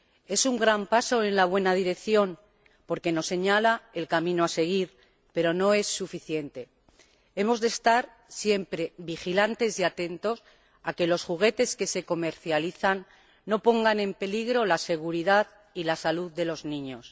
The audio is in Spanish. Es un gran paso en la buena dirección porque nos señala el camino a seguir, pero no es suficiente. Hemos de estar siempre vigilantes y atentos a que los juguetes que se comercializan no pongan en peligro la seguridad y la salud de los niños.